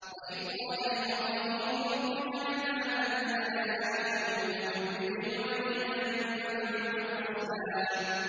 وَإِذْ قَالَ إِبْرَاهِيمُ رَبِّ اجْعَلْ هَٰذَا الْبَلَدَ آمِنًا وَاجْنُبْنِي وَبَنِيَّ أَن نَّعْبُدَ الْأَصْنَامَ